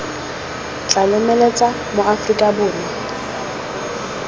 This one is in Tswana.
tla lomeletsa ma aforika borwa